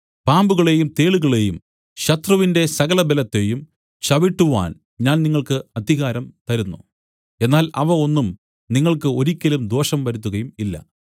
പാമ്പുകളെയും തേളുകളെയും ശത്രുവിന്റെ സകല ബലത്തെയും ചവിട്ടുവാൻ ഞാൻ നിങ്ങൾക്ക് അധികാരം തരുന്നു എന്നാൽ അവ ഒന്നും നിങ്ങൾക്ക് ഒരിക്കലും ദോഷം വരുത്തുകയും ഇല്ല